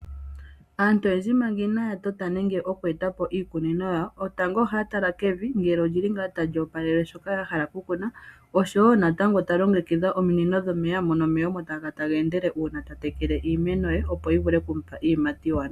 Aantu oyendji manga iinaa tota nenge oku eta po iikunino yawo, tango oha ya tala kevi, ngele olyili ngaa tali oopalele shoka ya hala oku kuna, osho woo natango ta longekitha ominino dhomeya mono omeya omo taga kala taga endele uuna ta tekele iimeno ye opo yi vule okumupa iiyimati iiwanawa.